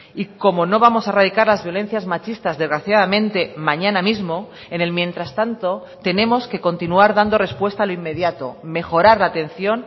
y como no vamos a erradicar las violencias machistas desgraciadamente mañana mismo en el mientras tanto tenemos que continuar dando respuesta a lo inmediato mejorar la atención